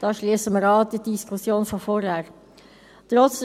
Damit schliessen wir an die Diskussion von vorhin an.